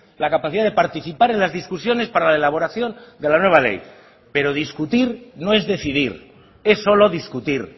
la capacidad de participar en las discusiones para la elaboración de la nueva ley pero discutir no es decidir es solo discutir